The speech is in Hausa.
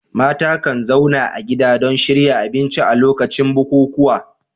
Mata kan zauna a gida don shirya abinci a lokacin bukukuwa.